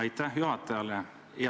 Aitäh juhatajale!